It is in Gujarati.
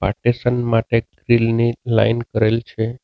પાર્ટેશન માટે ની કરેલ છે.